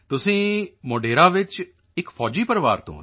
ਤੁਸੀਂ ਮੋਢੇਰਾ ਵਿੱਚ ਇੱਕ ਤਾਂ ਫ਼ੌਜੀ ਪਰਿਵਾਰ ਤੋਂ ਹੋ